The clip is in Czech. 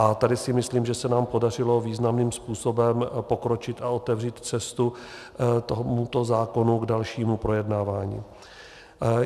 A tady si myslím, že se nám podařilo významným způsobem pokročit a otevřít cestu tomuto zákonu k dalšímu projednávání.